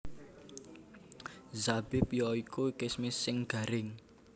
Zabib ya iku kismis sing garing